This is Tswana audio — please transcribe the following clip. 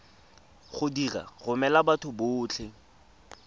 go di romela batho botlhe